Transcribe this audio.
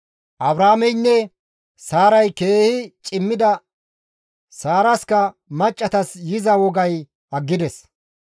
Abrahaameynne Saaray keehi cimmida; Saaraska maccassatas yiza wogay aggides.